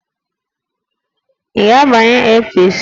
Ị ga-abanye APC!